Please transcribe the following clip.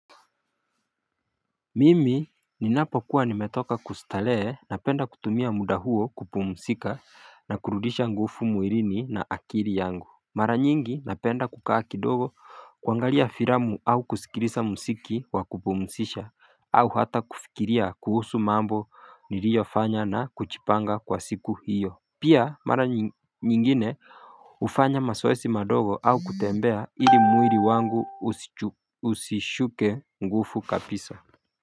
Mimi ninapokuwa nimetoka kustalee na penda kutumia muda huo kupumusika na kurudisha ngufu muirini na akiri yangu Mara nyingi na penda kukaa kidogo kwangalia firamu au kusikilisa msiki wa kupumusisha au hata kufikiria kuhusu mambo nilio fanya na kuchipanga kwa siku hiyo Pia mara nyingine ufanya masoesi madogo au kutembea ili muiri wangu usishuke ngufu kapiso.